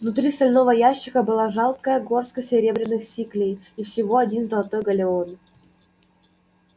внутри стального ящика была жалкая горстка серебряных сиклей и всего один золотой галлеон